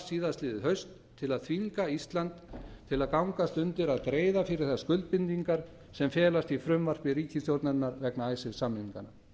síðastliðið haust til að þvinga ísland til að gangast undir að greiða fyrir þær skuldbindingar sem felast í frumvarpi ríkisstjórnarinnar vegna icesave samninganna